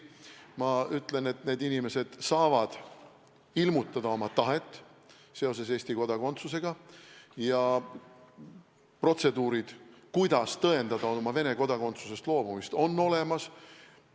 Ma ütlen, et need inimesed saavad ilmutada oma tahet seoses Eesti kodakondsusega, ja protseduurid selle kohta, kuidas tõendada Venemaa kodakondsusest loobumist, on olemas.